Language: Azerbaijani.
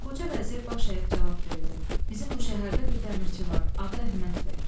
Qoca vəzir baş əyib cavab verdi: "Bizim bu şəhərdə bir dəmirçi var, adı Əhməddir.